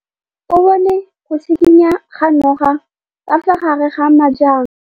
O bone go tshikinya ga noga ka fa gare ga majang.